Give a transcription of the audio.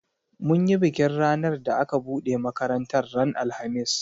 Mun yi bikin ranar da aka buɗe makaratar ran alhamis